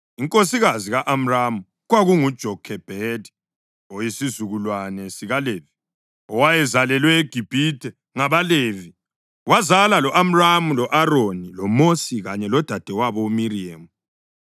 inkosikazi ka-Amramu kwakunguJokhebhedi, oyisizukulwane sikaLevi, owayezalelwe eGibhithe ngabaLevi. Wazala lo-Amramu u-Aroni, loMosi kanye lodadewabo uMiriyemu.